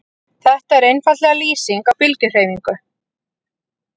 Þetta er einfaldlega lýsing á bylgjuhreyfingu.